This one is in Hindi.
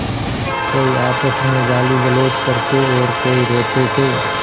कोई आपस में गालीगलौज करते और कोई रोते थे